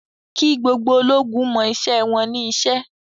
Kí gbogbo ológun mọ iṣẹ́ wọn ní iṣẹ́!